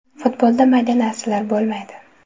Futbolda mayda narsalar bo‘lmaydi.